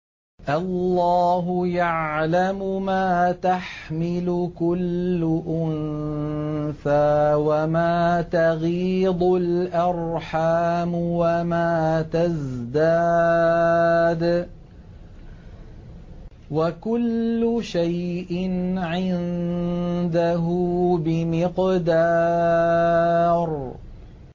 اللَّهُ يَعْلَمُ مَا تَحْمِلُ كُلُّ أُنثَىٰ وَمَا تَغِيضُ الْأَرْحَامُ وَمَا تَزْدَادُ ۖ وَكُلُّ شَيْءٍ عِندَهُ بِمِقْدَارٍ